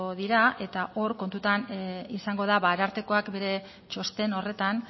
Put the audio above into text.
dira eta hor kontutan izango da arartekoak bere txosten horretan